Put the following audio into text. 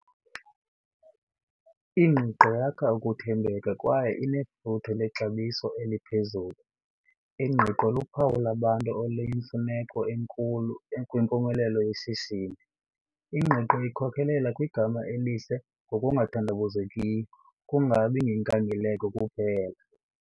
Ingqiqo yakha ukuthembeka kwaye inefuthe lexabiso eliphezulu. Ingqiqo luphawu labantu oluyimfuneko enkulu kwimpumelelo yeshishini. Ingqiqo ikhokelela kwigama elihle ngokungathandabuzekiyo, kungabi ngenkangeleko kuphela.